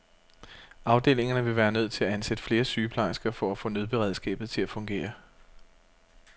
Afdelingerne ville være nødt til at ansætte flere sygeplejersker for at få nødberedskabet til at fungere.